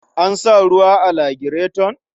An sa ruwa a lagireton?